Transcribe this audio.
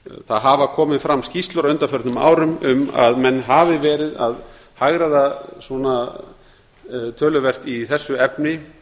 það hafa komið fram skýrslur á undanförnum árum um að menn hafi verið að hagræða töluvert í þessu efni